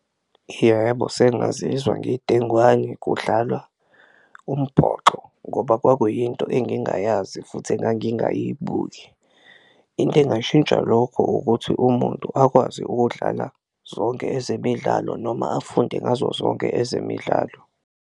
Yebo, sengazizwa ngidengwane kudlalwa umboxo ngoba kwakuyinto engingayazi futhi engangingayibuki, into engashintsha lokho ukuthi umuntu akwazi ukudlala zonke ezemidlalo noma afunde ngazo zonke ezemidlalo.